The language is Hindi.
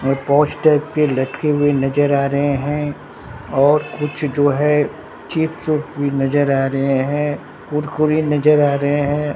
और पौस्टर पे लटके हुए नजर आ रहे हैं और कुछ जो है चिप्स - उप्स भी नजर आ रहे हैं कुरकुरे नजर आ रहे हैं।